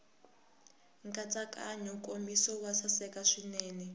nkatsakanyo nkomiso wo saseka swinene